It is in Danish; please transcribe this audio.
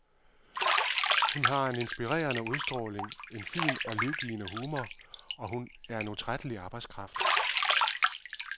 Hun har en inspirerende udstråling, en fin og livgivende humor og hun er en utrættelig arbejdskraft.